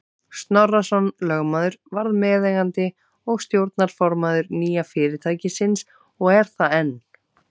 Snorrason lögmaður varð meðeigandi og stjórnarformaður nýja fyrirtækisins og er það enn.